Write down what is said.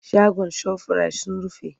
Shagon shofirayit sun rufe.